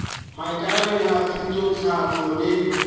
maikarabelo a thuto tlhahlo le